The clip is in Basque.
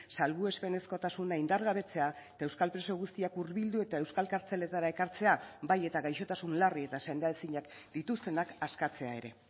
salbuespenezkotasuna indargabetzea eta euskal preso guztiak hurbildu eta euskal kartzeletara ekartzea bai eta gaixotasun larri eta sendaezinak dituztenak askatzea ere